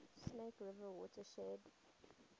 snake river watershed